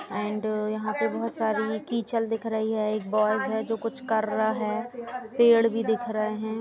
And यहाँ पर बोहोत सारी किचल की दिख रही है। एक बॉय्ज़ है जो कुछ कर रहा है। पेड़ भी दिख रहे हैं।